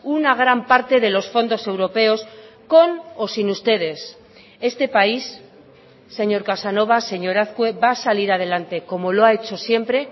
una gran parte de los fondos europeos con o sin ustedes este país señor casanova señor azkue va a salir adelante como lo ha hecho siempre